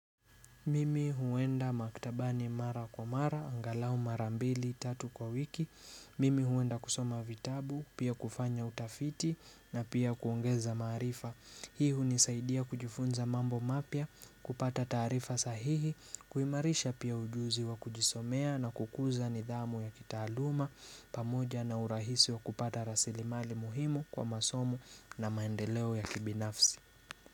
Mimi huenda maktabani mara kwa mara, angalau mara mbili, tatu kwa wiki. Mimi huenda kusoma vitabu, pia kufanya utafiti na pia kuongeza marifa. Hii hunisaidia kujifunza mambo mapya, kupata taarifa sahihi, kuimarisha pia ujuzi wa kujisomea na kukuza nidhamu ya kitaaluma, pamoja na urahisi wa kupata rasilimali muhimu kwa masomo na maendeleo ya kibinafsi.